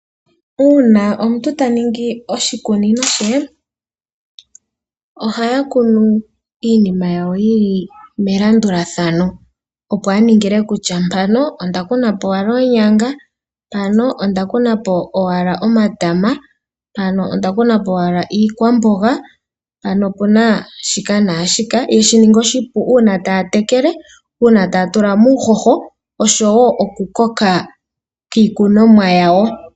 Uuna omuntu taningi oshikunino she, ohaya kunu iinima yili melandulathano opo aningile kutya mpano ondakunapo owala oonyanga, npano ondakunapo owala omatama, mpano ondakunapo owala iikwamboga, mpano opuna shika naashika yeshininge oshipu uuna taya tekele, uuna taya tulamo uuhoho osho wo okukoka kwiikunomwa yawo.